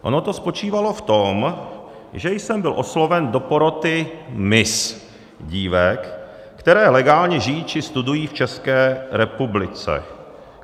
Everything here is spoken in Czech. Ono to spočívalo v tom, že jsem byl osloven do poroty miss dívek, které legálně žijí či studují v České republice.